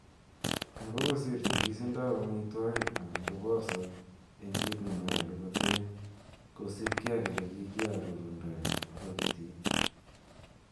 Ango kosir nyigisindab amitwogik anan kobosok en kit nenyolu koten kosiibge ak ele kikiborundo en pakitit.